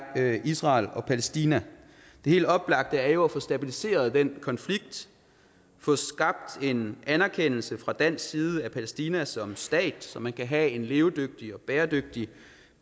israel og palæstina det helt oplagte er jo at få stabiliseret den konflikt få skabt en anerkendelse fra dansk side af palæstina som stat så man kan have en levedygtig og bæredygtig